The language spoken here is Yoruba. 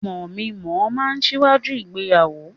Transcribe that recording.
Mọmí mọ̀ọ́ máa n síwájú ìgbéyàwó.